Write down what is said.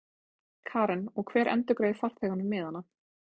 Karen: Og hver endurgreiðir farþegunum miðana?